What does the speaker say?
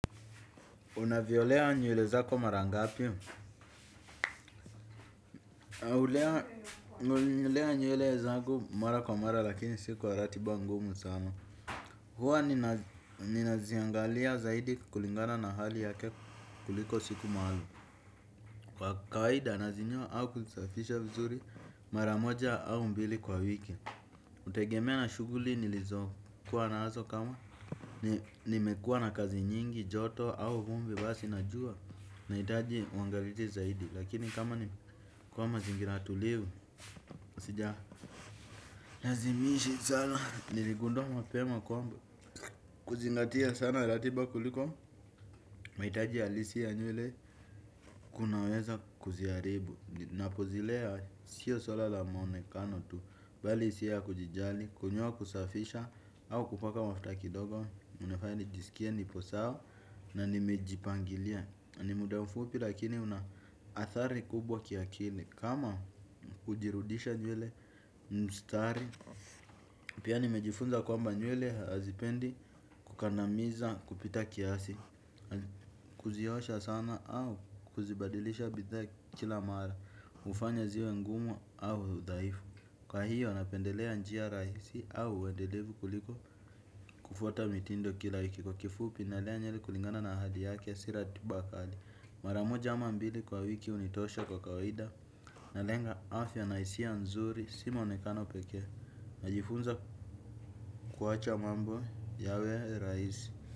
Unaviolea nywele zako mara ngapi? Hulea nywele zangu mara kwa mara lakini si kwa ratiba ngumu sana. Huwa ninaziangalia zaidi kulingana na hali yake kuliko siku maalumu. Kwa kawaida nazinyoa au kuzisafisha vizuri mara moja au mbili kwa wiki. Hutegemea na shuguli nilizokuwa nazo kama nimekuwa na kazi nyingi, joto au vumbi basi na jua nahitaji uangalie zaidi. Lakini kama ni kwa mazingira tulivu sija lazimishi sana. Niligundua mapema kwamba kuzingatia sana ratiba kuliko mahitaji halisi ya nywele kunaweza kuziharibu. Napozilea sio suala la mwonekano tu bali hisia ya kujijali. Kunyoa kusafisha au kupaka mafuta kidogo unafaya nijisikie nipo sawa na nimejipangilia. Ni muda mfupi lakini una athari kubwa kiakili. Kama hujirudisha nywele mstari. Pia nimejifunza kwamba nywele hazipendi kukandamiza kupita kiasi. Kuziosha sana au kuzibadilisha bidhaa kila mara hufanya ziwe ngumu au dhaifu. Kwa hiyo napendelea njia rahisi au wendelevu kuliko kufuta mitindo kila wiki. Kwa kifupi nalea nyeli kulingana na hali yake si ratiba kali. Mara moja ama mbili kwa wiki hunitosha kwa kawaida. Nalenga afya na hisia nzuri. Si mwonekano pekee. Najifunza kuwacha mambo yawe rahisi.